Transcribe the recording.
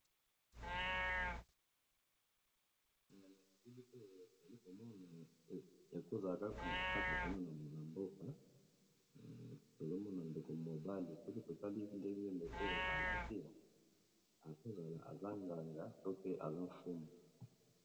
Na elili oyo tozali komona ekoki kozala kaka kuna na mboka tozomona ndeko mobali soki totali ndenge ndeko mobali oyo alaki ekozala aza nganga to pe azofumu.